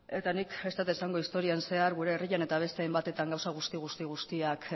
nik ez dut esango historian zehar gure herrian eta beste hainbatetan gauza guzti guztiak